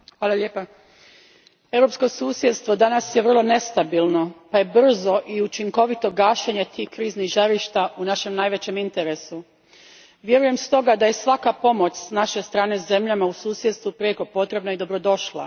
Gospodine predsjedniče, europsko susjedstvo danas je vrlo nestabilno pa je brzo i učinkovito gašenje tih kriznih žarišta u našem najvećem interesu. Vjerujem stoga da je svaka pomoć s naše strane zemljama u susjedstvu prijeko potrebna i dobrodošla.